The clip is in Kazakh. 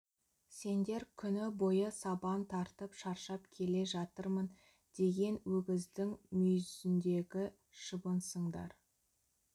сендер күні бойы сабан тартып шаршап келе жатырмын деген өгіздің мүйізіндегі шыбынсыңдар